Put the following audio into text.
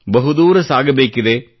ಬಹುದೂರ ಸಾಗಬೇಕಿದೆ